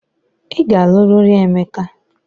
Ị ga-alụ riri Emeka!